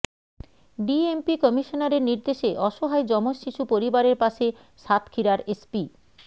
DMP কমিশনারের নির্দেশে অসহায় যমজ শিশু পরিবারের পাশে সাতক্ষীরার এসপি